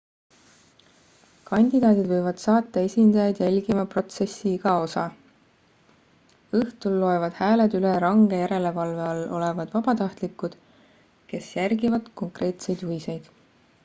kandidaadid võivad saata esindajaid jälgima protsessi iga osa õhtul loevad hääled üle range järelevalve all olevad vabatahtlikud kes järgivad konkreetseid juhiseid